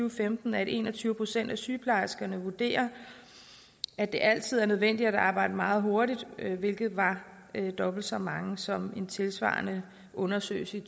og femten at en og tyve procent af sygeplejerskerne vurderer at det altid er nødvendigt at arbejde meget hurtigt hvilket var dobbelt så mange som i en tilsvarende undersøgelse i